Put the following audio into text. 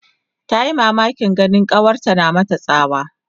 Tayi mamakin ganin kawarta tana mata tsawa